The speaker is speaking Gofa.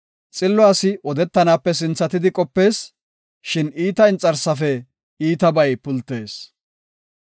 Xillo asi odetanape sinthatidi qopees; shin iitata inxarsaape iitabay pultees.